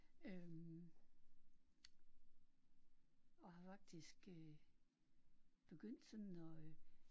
Øh og har faktisk øh begyndt sådan at øh